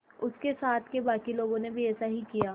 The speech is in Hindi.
उसके साथ के बाकी लोगों ने भी ऐसा ही किया